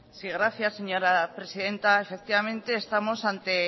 sí gracias señora presidenta efectivamente estamos ante